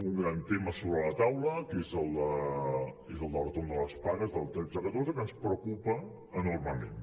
un gran tema sobre de la taula que és el del retorn de les pagues del tretze catorze que ens preocupa enormement